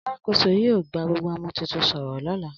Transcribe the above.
Alakoso yio gba gbogbo ọmọ titun soro lólà